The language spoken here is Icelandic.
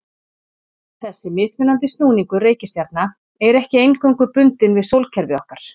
Þessi mismunandi snúningur reikistjarna er ekki eingöngu bundinn við sólkerfið okkar.